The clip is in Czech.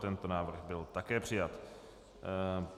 Tento návrh byl také přijat.